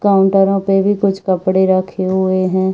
काउन्टरों पे भी कुछ कपड़े रखे हुए हैं।